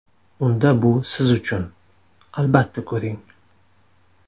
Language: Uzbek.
Unda bu siz uchun, albatta ko‘ring!.